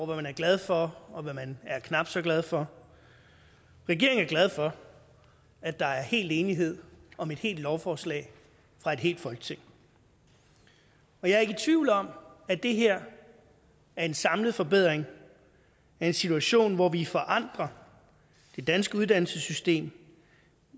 hvad man er glad for og hvad man er knap så glad for regeringen er glad for at der er hel enighed om et helt lovforslag fra et helt folketing jeg er ikke i tvivl om at det her er en samlet forbedring af en situation hvor vi forandrer det danske uddannelsessystem